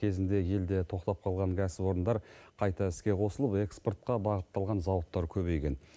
кезінде елде тоқтап қалған кәсіпорындар қайта іске қосылып экспортқа бағытталған зауыттар көбейген